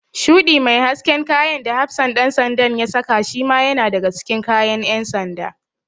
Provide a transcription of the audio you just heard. Shuɗi mai hasken kayan da hafsan ɗan sandan da ya saka shima yana daga cikin kayan ƴan sanda.